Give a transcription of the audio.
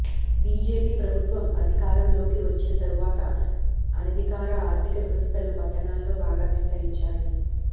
BJP ప్రభుత్వం అధికారం లోకి వచ్చిన తర్వాత అనధికార ఆర్థిక వ్యవస్థలు పట్టణాల్లో బాగా విస్తరించాయి